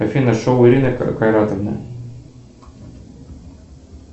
афина шоу ирины кайратовны